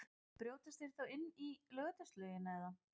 Brjótast þeir þá inn í Laugardalslaugina eða?